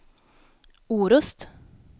Orust